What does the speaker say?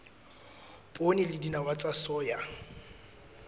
poone le dinawa tsa soya